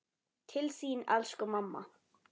Til þín elsku mamma.